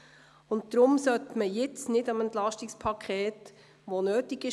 Deshalb sollte man jetzt nichts am EP verändern, welches nötig war.